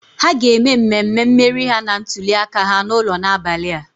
Ha ga-eme mmemme mmeri ha na ntuliaka ha n'ụlọ n'abalị a.